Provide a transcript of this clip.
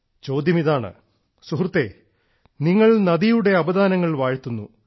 ചോദ്യമിതാണ് നിങ്ങൾ നദിയുടെ അപദാനങ്ങൾ വാഴ്ത്തിപ്പാടുന്നു